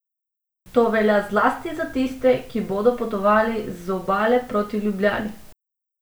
To velja zlasti za tiste, ki bodo potovali z Obale proti Ljubljani.